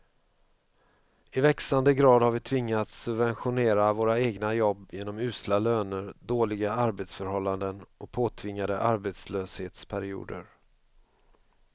I växande grad har vi tvingats subventionera våra egna jobb genom usla löner, dåliga arbetsförhållanden och påtvingade arbetslöshetsperioder.